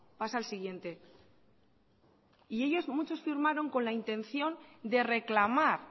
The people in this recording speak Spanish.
pasa al siguiente y ellos muchos firmaron con la intención de reclamar